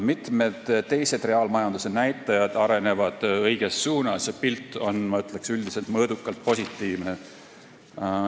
Mitmed teised reaalmajanduse näitajad arenevad õiges suunas ja pilt on, ma ütleks, üldiselt mõõdukalt positiivne.